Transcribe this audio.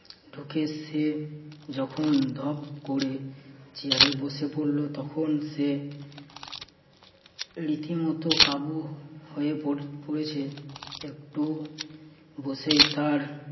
তোকে সে যখন ধপ করে চেয়ারে বসে পড়ল তখন সে রীতিমতো কাবু হয়ে পড়েছে। একটু বসে তার